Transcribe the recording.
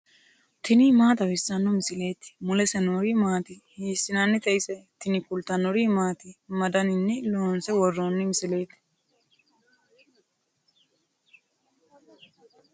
tini maa xawissanno misileeti ? mulese noori maati ? hiissinannite ise ? tini kultannori maati? Ma danninni loonsse woroonni misiletti?